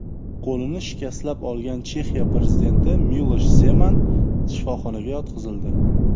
Qo‘lini shikastlab olgan Chexiya prezidenti Milosh Zeman shifoxonaga yotqizildi.